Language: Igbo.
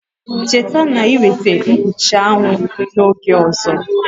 Cheta na ị weta mkpuchi anwụ n'oge ọzọ!